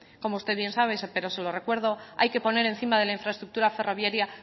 como usted bien sabe pero se lo recuerdo hay que poner encima de la infraestructura ferroviaria